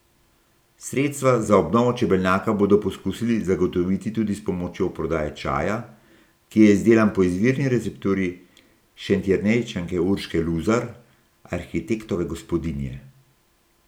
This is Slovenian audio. Sredstva za obnovo čebelnjaka bodo poskusili zagotoviti tudi s pomočjo prodaje čaja, ki je izdelan po izvirni recepturi Šentjernejčanke Urške Luzar, arhitektove gospodinje.